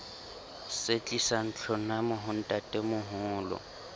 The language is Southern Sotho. se tlisang tlhonamo ho ntatemoholo